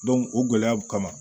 o gɛlɛyaw kama